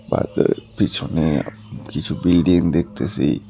বাজারের পিছনে কিছু বিল্ডিং দেখতেসি।